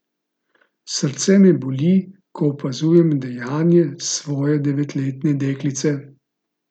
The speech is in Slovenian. Srce me boli, ko opazujem dejanje svoje devetletne deklice.